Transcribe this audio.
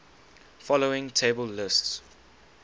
following table lists